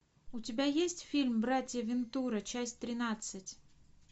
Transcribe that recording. у тебя есть фильм братья вентура часть тринадцать